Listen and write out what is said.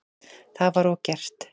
Það var og gert.